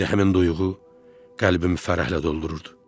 İndi həmin duyğu qəlbimi fərəhlə doldururdu.